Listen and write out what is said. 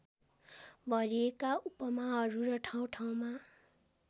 भरिएका उपमाहरू र ठाउँठाउँमा